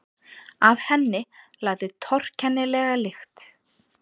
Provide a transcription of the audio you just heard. Af henni lagði torkennilega lykt.